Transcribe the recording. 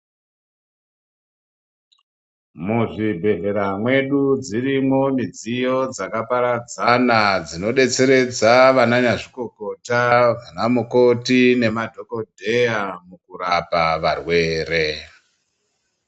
Muzvibhedhlera mwedu dzirimwo midziyo dzakaparadzana dzinodetseredza vana nyazvikokota, vanamukoti nemadhokodheya kurapa varwere.